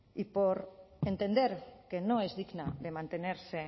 y por entender que no es digna de mantenerse